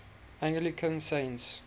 anglican saints